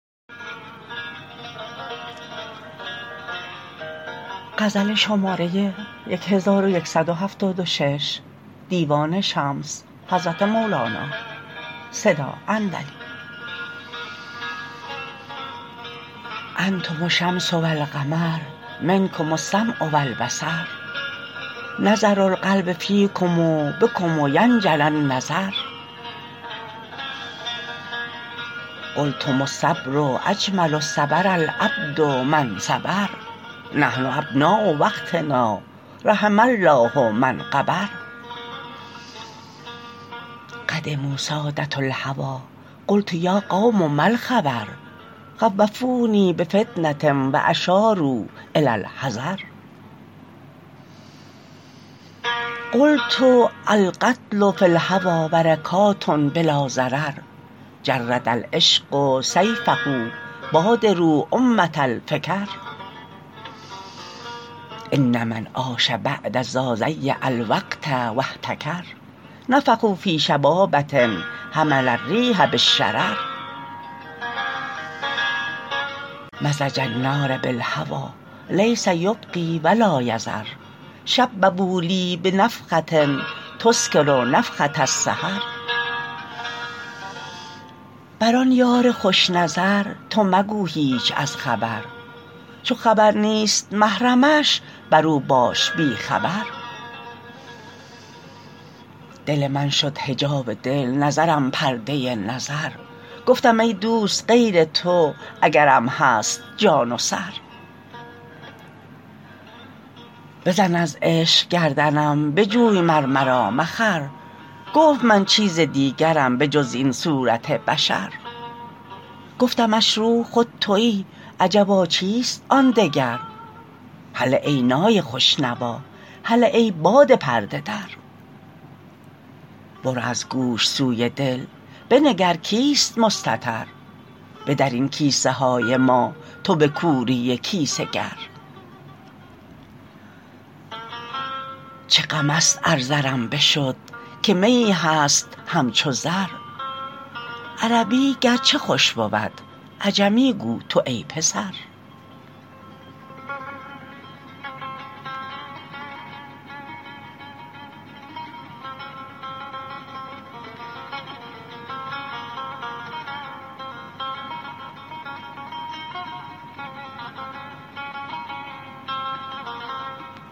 انتم الشمس و القمر منکم السمع و البصر نظر القلب فیکم بکم ینجلی النظر قلتم الصبر اجمل صبر العبد ما انصبر نحن ابناء وقتنا رحم الله من غبر قدموا ساده الهوی قلت یا قوم ما الخبر خوفونی بفتنه و اشاروا الی الحذر قلت القتل فی الهوی برکات بلا ضرر جرد العشق سیفه بادروا امه الفکر ان من عاش بعد ذا ضیع الوقت و احتکر نفخوا فی شبابه حمل الریح بالشرر مزج النار بالهوی لیس یبقی و لا یذر شببوا لی بنفخه یسکر نفخه السحر بر آن یار خوش نظر تو مگو هیچ از خبر چو خبر نیست محرمش بر او باش بی خبر دل من شد حجاب دل نظرم پرده نظر گفتم ای دوست غیر تو اگرم هست جان و سر بزن از عشق گردنم بجوی مر مرا مخر گفت من چیز دیگرم به جز این صورت بشر گفتمش روح خود توی عجبا چیست آن دگر هله ای نای خوش نوا هله ای باد پرده در برو از گوش سوی دل بنگر کیست مستتر بدر این کیسه های ما تو به کوری کیسه گر چه غمست ار زرم بشد که میی هست همچو زر عربی گرچه خوش بود عجمی گو تو ای پسر